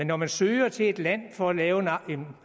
når man søger til et land for at lave en